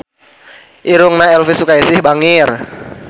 Irungna Elvy Sukaesih bangir